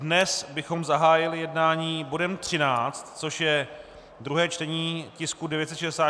Dnes bychom zahájili jednání bodem 13, což je druhé čtení tisku 964 o zaměstnanosti.